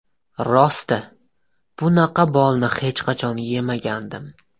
Rosti, bunaqa bolni hech qachon yemagandim.